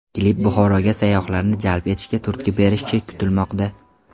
Klip Buxoroga sayyohlarni jalb etishga turtki berishi kutilmoqda.